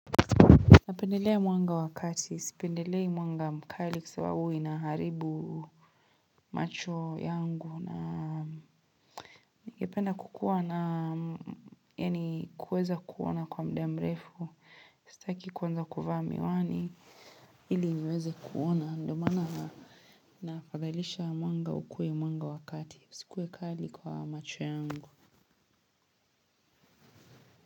Napendelea mwanga wa kati. Sipendelei mwanga mkali kwa sababu huwa inaharibu macho yangu na ningependa kukuwa na yaani kuweza kuona kwa muda mrefu. Sitaki kuanza kuvaa miwani ili niweze kuona ndo mana. Nafadhalisha mwanga ukuwe mwanga wa kati. Uikuwe kali kwa macho yangu.